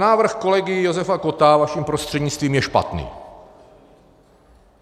Návrh kolegy Josefa Kotta, vaším prostřednictvím, je špatný.